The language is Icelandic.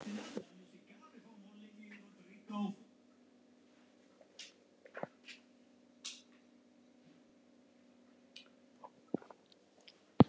Verður þetta erfitt?